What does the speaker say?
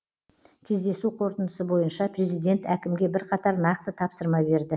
кездесу қорытындысы бойынша президент әкімге бірқатар нақты тапсырма берді